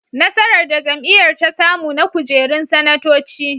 Nasarar da jam'iyyar ta samu na kujerun sanatoci.